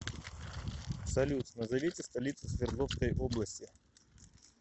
салют назовите столицу свердловской области